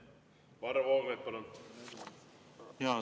Varro Vooglaid, palun!